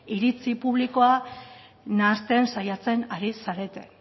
iritzi publikoa nahasten saiatzen ari zarete